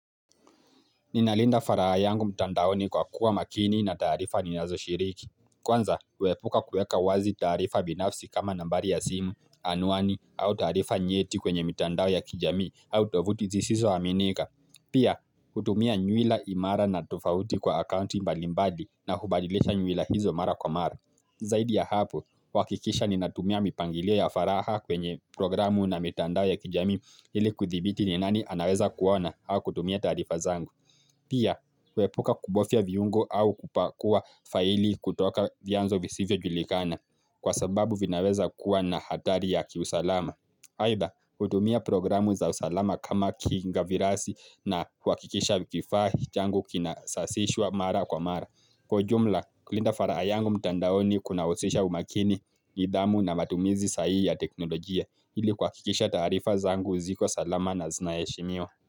Ninalinda faraha yangu mtandaoni kwa kuwa makini na taarifa ninazo shiriki. Kwanza, wepuka kueka wazi taarifa binafsi kama nambari ya simu, anuani, au tarifa nyeti kwenye mtandao ya kijami, au tovuti zisiso aminika. Pia, hutumia nyuila imara na tufauti kwa akaunti mbalimbadi na hubadilisha nyuila hizo mara kwa mara. Zaidi ya hapo, wakikisha ninatumia mipangilio ya faraha kwenye programu na mtandao ya kijamii hili kuthibiti ni nani anaweza kuona au kutumia tarifa zangu. Pia, kuepuka kubofia viungo au kupakua faili kutoka vianzo visivyo julikana kwa sababu vinaweza kuwa na hatari ya kiusalama. Aidha, utumia programu za usalama kama kinga virasi na kwa kikisha vikifahi changu kina sasishwa mara kwa mara. Kwa ujumla, kulinda faraha yangu mtandaoni kunahusisha umakini, nidhamu na matumizi sahi ya teknolojia ili kwa kikisha tarifa zaangu ziko salama na zinayeshimiwa.